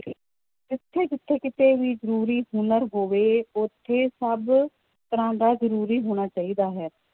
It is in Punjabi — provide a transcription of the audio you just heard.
ਜਿੱਥੇ ਜਿੱਥੇ ਕਿਤੇ ਵੀ ਜ਼ਰੂਰੀ ਹੁਨਰ ਹੋਵੇ ਉੱਥੇ ਸਭ ਤਰ੍ਹਾਂ ਦਾ ਜ਼ਰੂਰੀ ਹੋਣਾ ਚਾਹੀਦਾ ਹੈ।